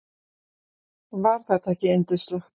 Var þetta ekki yndislegt?